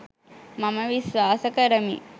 මම විශ්වාස කරමි.